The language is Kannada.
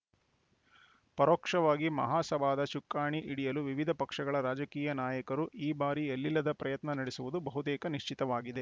ಪರೋಕ್ಷವಾಗಿ ಮಹಾಸಭಾದ ಚುಕ್ಕಾಣಿ ಹಿಡಿಯಲು ವಿವಿಧ ಪಕ್ಷಗಳ ರಾಜಕೀಯ ನಾಯಕರು ಈ ಬಾರಿ ಎಲ್ಲಿಲ್ಲದ ಪ್ರಯತ್ನ ನಡೆಸುವುದು ಬಹುತೇಕ ನಿಶ್ಚಿತವಾಗಿದೆ